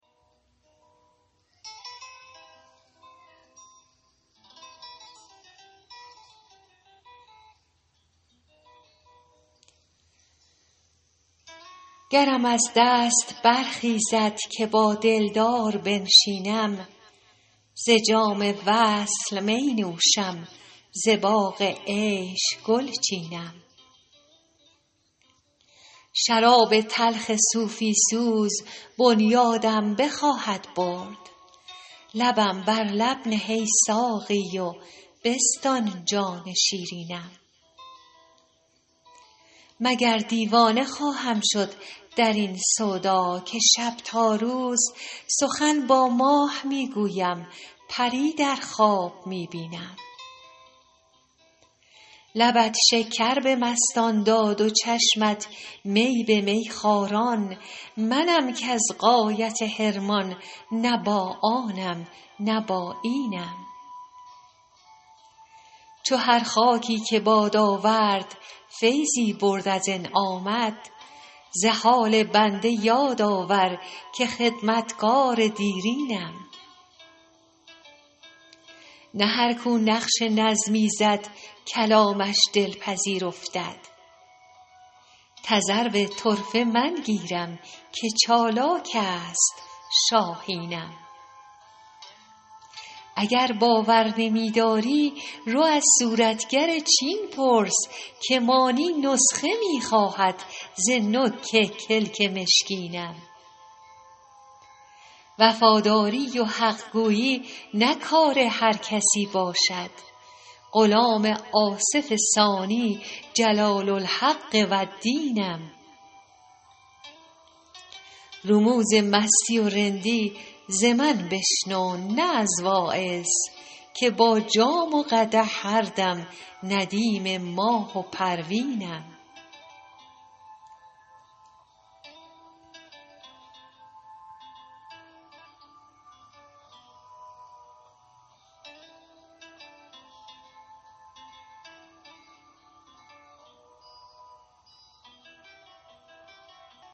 گرم از دست برخیزد که با دلدار بنشینم ز جام وصل می نوشم ز باغ عیش گل چینم شراب تلخ صوفی سوز بنیادم بخواهد برد لبم بر لب نه ای ساقی و بستان جان شیرینم مگر دیوانه خواهم شد در این سودا که شب تا روز سخن با ماه می گویم پری در خواب می بینم لبت شکر به مستان داد و چشمت می به میخواران منم کز غایت حرمان نه با آنم نه با اینم چو هر خاکی که باد آورد فیضی برد از انعامت ز حال بنده یاد آور که خدمتگار دیرینم نه هر کو نقش نظمی زد کلامش دلپذیر افتد تذرو طرفه من گیرم که چالاک است شاهینم اگر باور نمی داری رو از صورتگر چین پرس که مانی نسخه می خواهد ز نوک کلک مشکینم وفاداری و حق گویی نه کار هر کسی باشد غلام آصف ثانی جلال الحق و الدینم رموز مستی و رندی ز من بشنو نه از واعظ که با جام و قدح هر دم ندیم ماه و پروینم